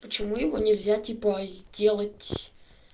почему его нельзя типа сделать